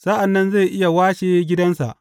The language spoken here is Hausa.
Sa’an nan zai iya washe gidansa.